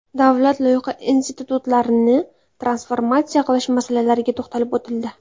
Davlat loyiha institutlarini transformatsiya qilish masalalariga to‘xtalib o‘tildi.